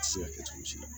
Se ka kɛ cogo si la